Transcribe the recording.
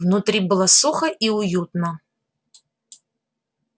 внутри было сухо и уютно